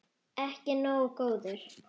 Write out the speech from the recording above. Ekki nógu góður!